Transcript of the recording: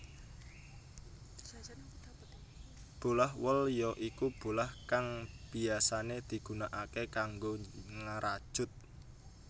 Bolah wol ya iku bolah kang biyasané digunakaké kanggo ngrajut